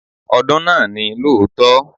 Ọdún náà ni lóòótọ́.